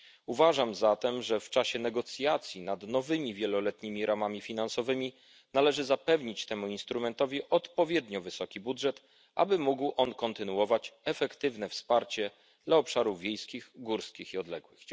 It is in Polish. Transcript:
Uważam zatem, że w czasie negocjacji nad nowymi wieloletnimi ramami finansowymi należy zapewnić temu instrumentowi odpowiednio wysoki budżet, aby mógł on kontynuować efektywne wsparcie dla obszarów wiejskich, górskich i odległych.